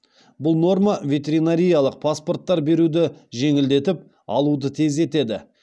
бұл норма ветеринариялық паспорттар беруді жеңілдетіп алуды тездетеді